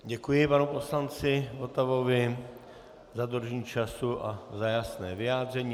Děkuji panu poslanci Votavovi za dodržení času a za jasné vyjádření.